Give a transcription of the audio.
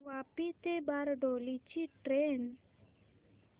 वापी ते बारडोली ची ट्रेन